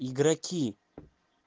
игроки